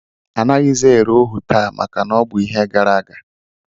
Anaghịzi ere ohu taa maka na ọ bụ ihe gara aga